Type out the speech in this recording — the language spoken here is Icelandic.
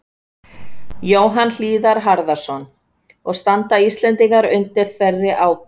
Jóhann Hlíðar Harðarson: Og standa Íslendingar undir þeirri ábyrgð?